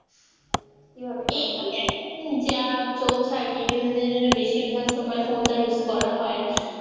যা চলছে আরকি বিনোদনের জন্য বেশিরভাগ সময় ফোনটা use করা হয়।